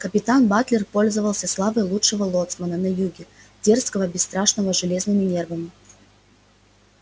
капитан батлер пользовался славой лучшего лоцмана на всем юге дерзкого бесстрашного с железными нервами